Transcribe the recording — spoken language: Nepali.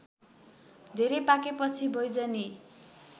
धेरै पाकेपछि बैजनी